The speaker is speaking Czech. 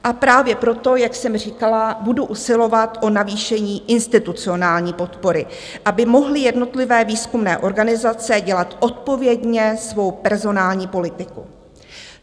A právě proto, jak jsem říkala, budu usilovat o navýšení institucionální podpory, aby mohly jednotlivé výzkumné organizace dělat odpovědně svou personální politiku.